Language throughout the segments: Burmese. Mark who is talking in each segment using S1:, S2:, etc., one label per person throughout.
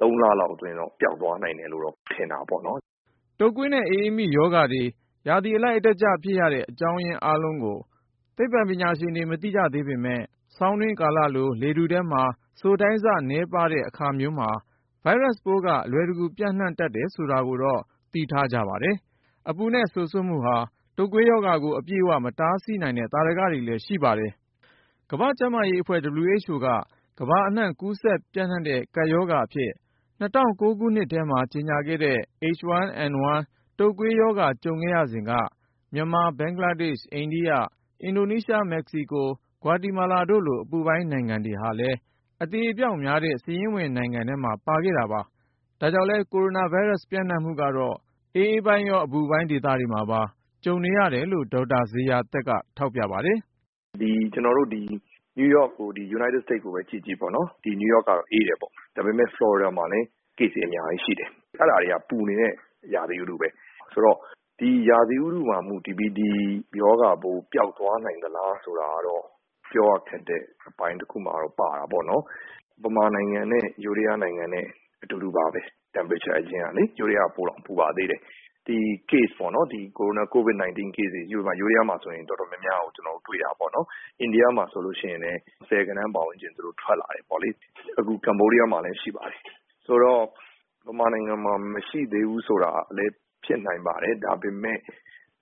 S1: သုံးလလောက်အတွင်း ပျောက်သွားနိုင်တယ်လို့တော့ ထင်တာပေါ့နော်။
S2: ” တုပ်ကွေးနဲ့ အအေးမိရောဂါတွေ ရာသီအလိုက် အတက်အကျဖြစ်ရတဲ့ အကြောင်းရင်း အားလုံးကို သိပ္ပံပညာရှင်တွေ မသိကြသေးပေမယ့် ဆောင်းတွင်းကာလလို လေထဲမှာ စိုထိုင်းဆနည်းပါးတဲ့ အခါမျိုးမှာ ဗိုင်းရပ်စ်ပိုးတွေ အလွယ်တကူ ပျံ့နှံ့တတ်တယ် ဆိုတာကိုတော့ သိထားကြပါတယ်။ အပူနဲ့ စိုစွတ်မှုဟာ တုပ်ကွေးရောဂါကို အပြည့်အ၀ မတားဆီးနိုင်တဲ့ သာဓကတွေလည်း ရှိပါတယ်။ ကမ္ဘာ့ကျန်းမာရေးအဖွဲ့ (WHO) က ကမ္ဘာအနှံ့ ကူးစက်ပျံ့နှံ့တဲ့ ကပ်ရောဂါအဖြစ် ၂၀၀၉ ခုနှစ်ထဲမှာ ကြေညာခဲ့တဲ့ H1N1 တုပ်ကွေးရောဂါ ကြုံခဲ့ရစဉ်က မြန်မာ၊ ဘင်္ဂလားဒေ့ရှ်၊ အိန္ဒိယ၊ အင်ဒိုနီးရှား၊ မက္ကဆီကိုနဲ့ ဂွါတီမာလာတို့လို အပူပိုင်း နိုင်ငံတွေဟာလည်း အသေအပျောက်များတဲ့ စာရင်းဝင်နိုင်ငံတွေထဲမှာ အပါအဝင် ဖြစ်ခဲ့တာပါ။ ဒါကြောင့် ကိုရိုနာဗိုင်းရပ်စ် ပျံ့နှံ့မှုကတော့ အအေးပိုင်းရော၊ အပူပိုင်း ဒေသတွေမှာပါ ကြုံနေရတယ်လို့ ဒေါက်တာဇေယျာသက်
S1: က ထောက်ပြပါတယ်။ “ကျနော်တို့ အမေရိကန် နယူးယောက်ကိုပဲ ကြည့်ကြည့်၊ ဒီ နယူးယောက်က အေးတယ်ပေါ့။ ဒါပေမယ့် ဖလော်ရီဒါမှာလည်း ကူးစက်မှုတွေရှိတယ်၊ အဲဒီမှာက ပူနွေးတဲ့ ရာသီဥတုပဲ။ ဆိုတော့ ဒီရာသီဥတုပေါ် မူတည်ပြီး ဒီရောဂါပိုး ပျောက်သွားနိုင်သလား ဆိုတာကတော့ ပြောရခက်တဲ့ အပိုင်းတခုမှာတော့ ပါတာပေါ့။ မြန်မာဆိုရင်လည်း ထိုင်းနိုင်ငံနဲ့ အတူတူပါပဲ၊ ထိုင်းကတောင် ပိုပူပါသေးတယ်။ ဒီ Covid-19 case တွေဆို ထိုင်းနိုင်ငံမှာ တော်တော်များများ ကျနော်တို့ တွေ့ရတာပေါ့နော်။ အိန္ဒိယမှာ ဆိုလို့ရှိရင်လည်း ဆယ်ဂဏန်းပတ်ဝန်းကျင် ထွက်လာတယ်ပေါ့လေ။ အခု ကမ္ဘောဒီးယားမှာလည်း ရှိပါတယ်။ ဆိုတော့ မြန်မာနိုင်ငံမှာ မရှိသေးဘူး ဆိုတာကလည်း ဖြစ်နိုင်ပါတယ်။ ဒါပေမယ့်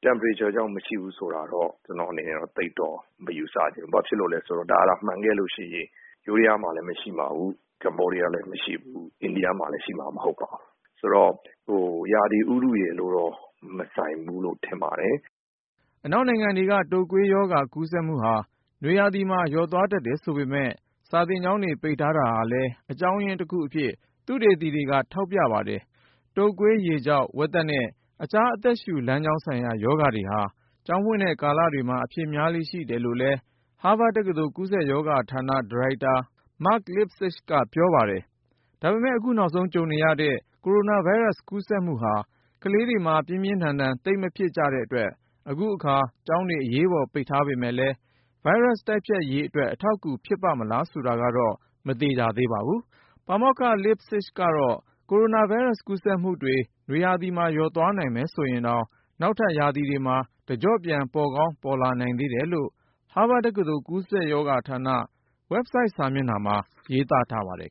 S1: အပူချိန်မြင့်လို့ မရှိဘူးဆိုတာကိုတော့ ကျနော့်အနေနဲ့ သိပ်တော့ မယူဆချင်ဘူး၊ ဘာဖြစ်လို့လဲဆိုတော့ ဒါသာ မှန်ခဲ့လို့ရှိရင် ထိုင်းမှာလည်း ရှိမှာမဟုတ်ပါဘူး၊ ကမ္ဘောဒီးယားလည်း မရှိနိုင်ဘူး၊ အိန္ဒိယမှာလည်း ရှိမှာ မဟုတ်ပါဘူး။ ဆိုတော့ ရာသီဥတုရယ်လို့တော့ မဆိုင်ဘူးလို့ ထင်ပါတယ်။
S2: ” အနောက်နိုင်ငံတွေက တုပ်ကွေးရောဂါ ကူးစက်မှုဟာ နွေရာသီမှာ လျော့သွားတတ်တယ် ဆိုပေမယ့် စာသင်ကျောင်းတွေ ပိတ်ထားတာဟာလည်း အကြောင်းရင်းတခုအဖြစ် သုတေသီတွေက ထောက်ပြကြပါတယ်။ တုပ်ကွေး၊ ရေကျောက်၊ ဝက်သက်နဲ့ တခြား အသက်ရှူလမ်းကြောင်းဆိုင်ရာ ရောဂါတွေဟာ ကျောင်းဖွင့်တဲ့ ကာလတွေမှာ အဖြစ်များလေ့ ရှိတယ်လို့လည်း ဟားဗတ်တက္ကသိုလ် ကူးစက်ရောဂါဌာန ဒါရိုက်တာ Mark Lipsitch က ပြောပါတယ်။ ဒါပေမယ့် အခုနောက်ဆုံး ကြုံနေရတဲ့ ကိုရိုနာဗိုင်းရပ်စ် ကူးစက်မှုဟာ ကလေးတွေမှာ ပြင်းပြင်းထန်ထန် သိပ်မဖြစ်ကြတဲ့အတွက် အခုအခါ ကျောင်းတွေ အရေးပေါ် ပိတ်ထားပေမယ့် ဗိုင်းရပ်စ်တိုက်ဖျက်ရေးအတွက် အထောက်အကူ ဖြစ်ပါ့မလား ဆိုတာကတော့ မသေချာသေးပါဘူး။ ပါမောက္ခ Lipsitch ကတော့ ကိုရိုနာဗိုင်းရပ်စ် ကူးစက်မှုတွေ နွေရာသီမှာ လျော့သွားမယ်ဆိုရင်တောင် နောက်ထပ်ရာသီတွေမှာ တကျော့ပြန် ပေါ်ကောင်းပေါ်လာနိုင်သေးတယ်လို့ ဟားဗတ်တက္ကသိုလ် ကူးစက်ရောဂါဌာန ဝက်ဘ်ဆိုက်စာမျက်နှာမှာ ရေးသားထားပါတယ်